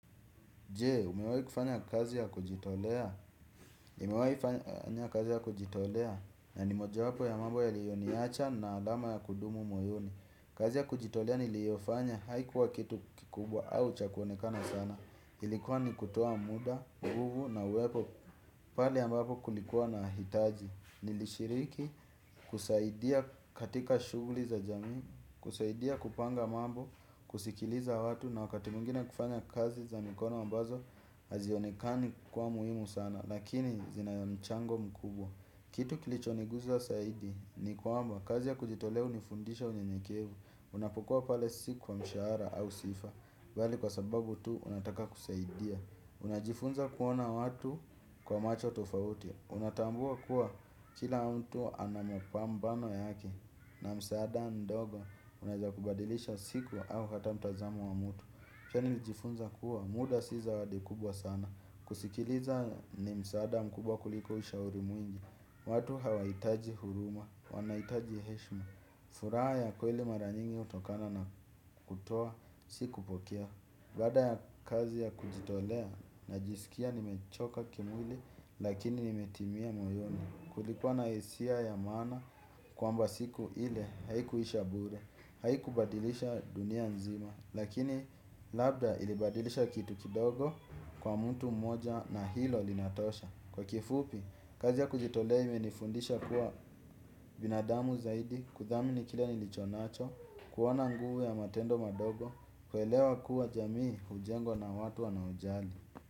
Je, umewahi kufanya kazi ya kujitolea? Nimewahi fanya kazi ya kujitolea? Na ni moja wapo ya mambo yaliyoniacha na adama ya kudumu moyoni. Kazi ya kujitolea niliyofanya haikuwa kitu kikubwa au cha kuonekana sana. Ilikuwa ni kutoa muda, guvu na uwepo pale ambapo kulikuwa na hitaji. Nilishiriki, kusaidia katika shuguli za jami, kusaidia kupanga mambo, kusikiliza watu na wakati mwingine kufanya kazi za mikono ambazo. Hazionekani kwa muhimu sana lakini zina mchango mkubwa. Kitu kilichoniguza zaidi ni kwamba kazi ya kujitolea hunifundisha unyenyekevu, unapokua pale si kwa mshahara au sifa bali kwa sababu tu unataka kusaidia unajifunza kuona watu kwa macho tofauti unatambua kuwa kila mtu ana mapambano yake na msaada ndogo unaweza kubadilisha siku au hata mtazamo wa mtu. Chani lijifunza kuwa muda si zawadi kubwa sana. Kusikiliza ni msaada mkubwa kuliko ushauri mwingi. Watu hawahitaji huruma, wanaitaji heshma. Furaha ya kweli mara nyingi hutokana na kutoa, siku pokea. Baada ya kazi ya kujitolea najisikia nimechoka kimwili lakini nimetimia moyoni. Kulikua na hisia ya maana kwamba siku ile haikuisha bure. Haikubadilisha dunia nzima, lakini labda ilibadilisha kitu kidogo kwa mtu moja na hilo linatosha. Kwa kifupi, kazi ya kujitolea imenifundisha kuwa binadamu zaidi kuthamini kila nilichonacho, kuwa na nguvu ya matendo madogo, kuelewa kuwa jamii hujengwa na watu wanaojali.